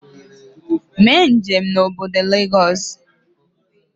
Mee njem na obodo Lagos